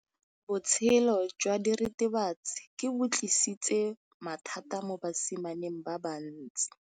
Botshelo jwa diritibatsi ke bo tlisitse mathata mo basimaneng ba bantsi.